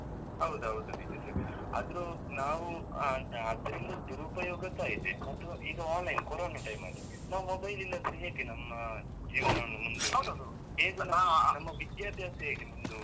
ಹೌದು ಹೌದು ನಿಜ sir. ಆದ್ರೂ ನಾವು ಅಹ್ ಅದ್ರಿಂದ ದುರುಪಯೋಗಸ ಇದೆ. ಅತ್ವಾ ಈಗ online ಕೊರೊನ time ಅಲ್ಲಿ ನಾವ್ mobile ಇಲ್ಲದ್ರೆ ಹೇಗೆ ನಮ್ಮ ಜೀವನವನ್ನು ಮುಂದೆ ಹೋಗ್ಲಿಕ್ಕೆ ಹೇಗೂ ನಮ್ಮ ವಿದ್ಯಾಭ್ಯಾಸ ಹೇಗೆ ಮುಂದೆ ಹೋಗುದು?